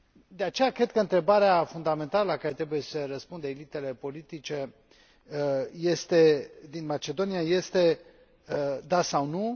De aceea, cred că întrebarea fundamentală la care trebuie să răspundă elitele politice din Macedonia este da sau nu?